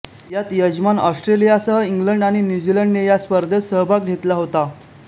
यात यजमान ऑस्ट्रेलियासह इंग्लंड आणि न्यूझीलंड ने या स्पर्धेत सहभाग घेतला होता